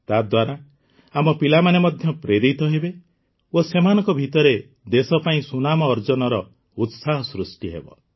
ତାଦ୍ୱାରା ଆମ ପିଲାମାନେ ମଧ୍ୟ ପ୍ରେରିତ ହେବେ ଓ ସେମାନଙ୍କ ଭିତରେ ଦେଶ ପାଇଁ ସୁନାମ ଅର୍ଜନର ଉତ୍ସାହ ସୃଷ୍ଟି ହେବ